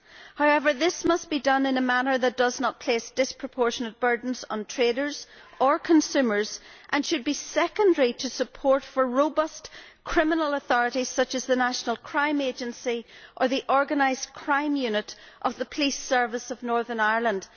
However, this must be done in a manner that does not place disproportionate burdens on traders or consumers and should be secondary to support for robust criminal authorities, such as the National Crime Agency or the Organised Crime Unit of the Police Service of Northern Ireland.